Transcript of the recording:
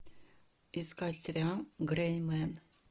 искать сериал грей мэн